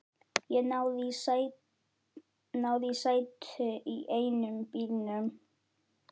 Ég náði í sæti í einum bílnum.